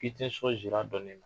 K'i tɛ n sɔn sira dɔɔni na